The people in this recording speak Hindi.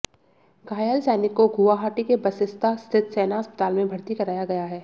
घायल सैनिक को गुवाहाटी के बसिस्ता स्थित सेना अस्पताल में भर्ती कराया गया है